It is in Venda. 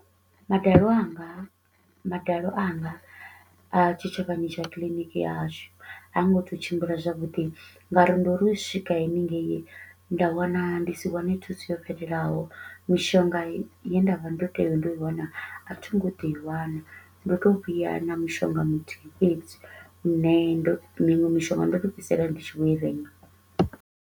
Madalo anga madalo anga a tshitshavhani tsha clinic ya hashu ha ngo to u tshimbila zwavhudi nga uri ndo ri u swika hanengeyi nda wana ndi si wane thuso yo fhelelaho. Mishonga ye nda vha ndo tea ndo i wana a thi ngo ḓo i wana. Ndo to u vhuya na mushonga muthihi fhedzi nṋe ndo miṅwe mishonga ndo to u fhedzisela ndi tshi vho i renga.